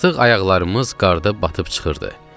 Artıq ayaqlarımız qarda batıb çıxırdı.